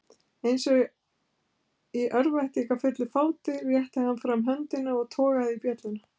Eins og í örvæntingarfullu fáti rétti hann fram höndina og togaði í bjölluna.